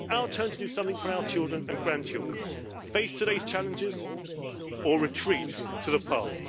our turn to do something for our children and grandchildren face today's challenges or retreat to the past.